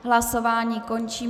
Hlasování končím.